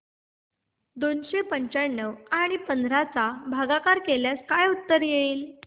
दोनशे पंच्याण्णव आणि पंधरा चा भागाकार केल्यास काय उत्तर येईल